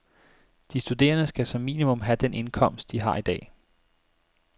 De studerende skal som minimum have den indkomst, de har i dag.